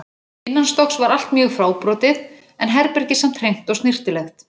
Innanstokks var allt mjög fábrotið en herbergið samt hreint og snyrtilegt.